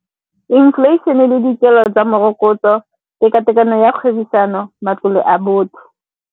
Inflation-e le dikelo tsa morokotso, tekatekano ya kgwebisano, matlole a botho.